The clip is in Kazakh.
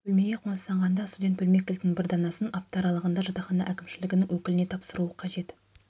бөлмеге қоныстанғанда студент бөлме кілтінің бір данасын апта аралығында жатақхана әкімшілігінің өкіліне тапсыруы қажет